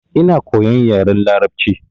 Ina koyan yaren larabci.